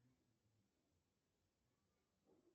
сбер что такое казахи